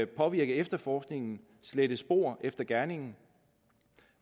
påvirke efterforskningen slette spor efter gerningen